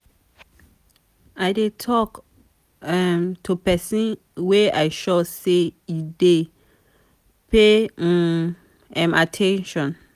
i dey tok um to pesin wey i sure sey e dey pay um um at ten tion.